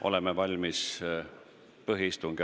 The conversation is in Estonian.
Oleme valmis alustama põhiistungit.